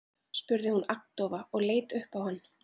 spurði hún agndofa og leit upp á hann.